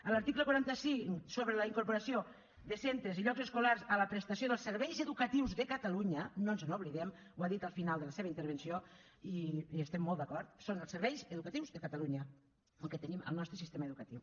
a l’article quaranta cinc sobre la incorporació de centres i llocs escolars a la prestació dels serveis educatius de catalunya no ens n’oblidem ho ha dit al final de la seva intervenció i hi estem molt d’acord són els serveis educatius de catalunya el que tenim al nostre sistema educatiu